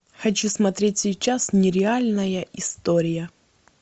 хочу смотреть сейчас нереальная история